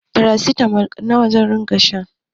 Farasitamol nawa zan iya sha